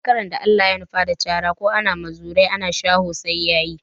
Zakaran da Allah ya nufa da cara ko ana muzuru ana shaho sai ya yi.